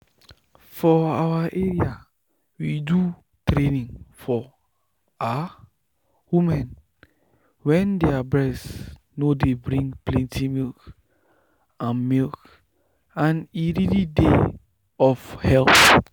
for our area we do training for ah women wen their breast nor dey bring plenty milk and milk and e really dey of help.